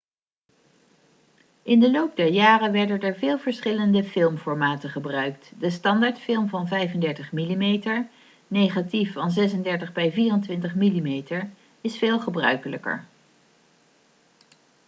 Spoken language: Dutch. in de loop der jaren werden er veel verschillende filmformaten gebruikt. de standaardfilm van 35 mm negatief van 36 bij 24 mm is veel gebruikelijker